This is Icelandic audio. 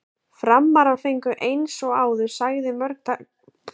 Framarar fengu eins og áður sagði mörg góð færi.